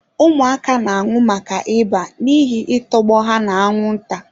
Ụmụaka na-anwụ maka ịba n'ihi I tọgbọ ha na-anwụnta.